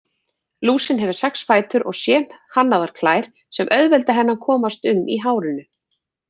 Lúsin hefur sex fætur og sérhannaðar klær sem auðvelda henni að komast um í hárinu.